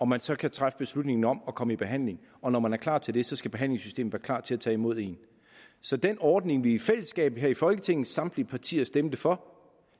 man selv kan træffe beslutningen om at komme i behandling og når man er klar til det skal behandlingssystemet klar til at tage imod en så den ordning vi i fællesskab her i folketinget samtlige partier stemte for